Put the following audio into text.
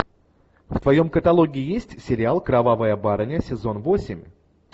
в твоем каталоге есть сериал кровавая барыня сезон восемь